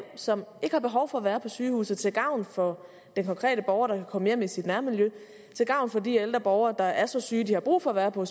som ikke har behov for at være på sygehus og til gavn for den konkrete borger der kan komme hjem i sit nærmiljø til gavn for de ældre borgere der er så syge at de har brug for at være på